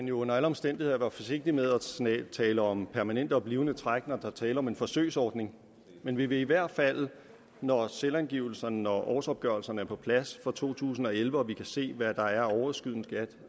jo under alle omstændigheder være forsigtig med at tale om permanente blivende træk når der er tale om en forsøgsordning men vi vil i hvert fald når selvangivelserne og årsopgørelserne er på plads for to tusind og elleve og vi kan se hvad der er af overskydende skat